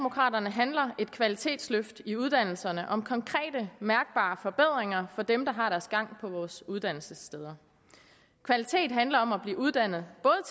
handler et kvalitetsløft i uddannelserne om konkrete mærkbare forbedringer for dem som har deres gang på vores uddannelsessteder kvalitet handler om at blive uddannet